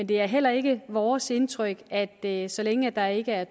det er heller ikke vores indtryk at det så længe der ikke er